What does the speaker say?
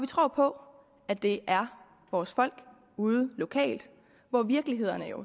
tror på at det er vores folk ude lokalt hvor virkelighederne